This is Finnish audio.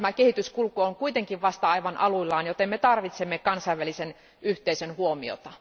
Tämä kehityskulku on kuitenkin vasta aivan aluillaan, joten me tarvitsemme kansainvälisen yhteisön huomiota.